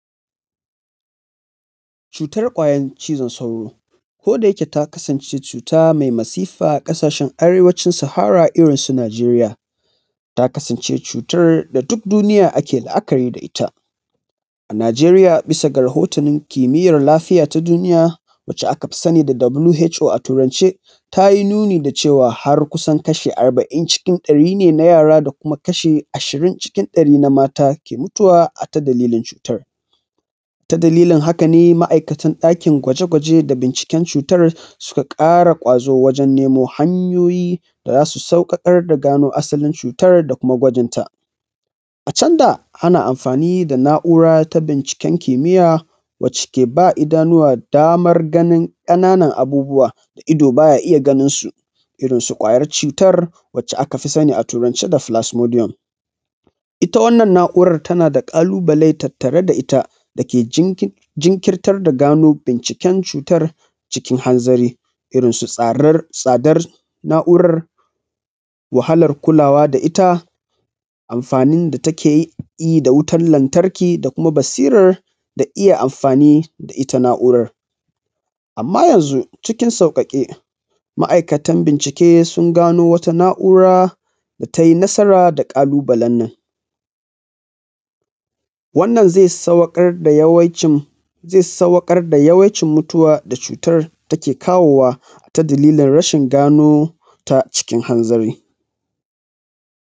Cutar ƙwayan cizon sauro. Ko da yake ta kasance cuta mai masifa a ƙasashen arewacin sahara irin su Najeriya, ta kasance cutar da duk duniya take la'akari da ita. Najeriya bisa ga rahotanin kimiyan lafiya ta duniya wanda aka fi sani da WHO a turance, tayi nuni da cewa har kusan kashi arba’in cikin ɗari ne na yara da kuma kashi ashirin a cikin kashi ɗari na mata suke mutuwa a ta dalilin cutar. Ta dalilin haka ne ma'ikatan ɗakin gwaje gwaje da binciken cutar su ka ƙara ƙwazo wajan nemo hanyoyi da za su sauƙaƙar da gano asalin cutar da kuma gwajinta. A can da ana amfani da na’ura ta binciken kimiya wanda ke ba idanuwa damar ganin ƙananan abubuwa da ido baya iya ganin su, Irin su ƙwayan cutar da a kafi sani a turance da plasmodium. Ita wannan na'ura tana da ƙalubale tattare da ita da ke jinkirtar da gano binciken cutar cikin hanzari. Irin tsadar na'uran, wahalan kulawa da ita, amfanin da take yi, da wutan lantarki, da kuma basiran da iya amafani da ita na'uran. Amma yanzu cikin sauƙaƙe ma'ikatan bincike sun gano wata na'ura da ta yi nasaran da ƙalubalen nan. Wannan zai saukar da yawaicin mutuwa da cutar ke kawo wa a ta dalilin rashin gano cutar cikin hanzari.